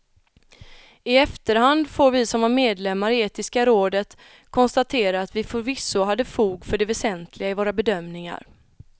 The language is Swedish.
I efterhand får vi som var medlemmar i etiska rådet konstatera att vi förvisso hade fog för det väsentliga i våra bedömningar.